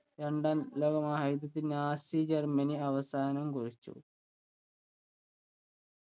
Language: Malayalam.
രണ്ടാം ലോക മഹായുദ്ധത്തിന് നാസി ജർമ്മനി അവസാനം കുറിച്ചു.